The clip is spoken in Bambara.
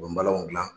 U bɛ balanw gilan